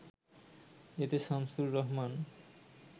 এতে শামছুর রহমান